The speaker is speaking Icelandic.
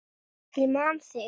Ég man þig.